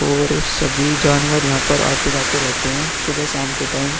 और सभी जानवर यहां पर आते-जाते रहते है सुबह शाम के टाइम ।